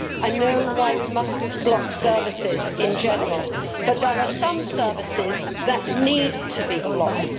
I know why we must not block services in general, but there are some services that need to be blocked.